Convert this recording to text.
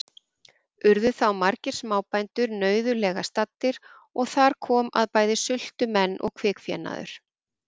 Urðu þá margir smábændur nauðulega staddir, og þar kom að bæði sultu menn og kvikfénaður.